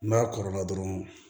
N'a kɔrɔla dɔrɔn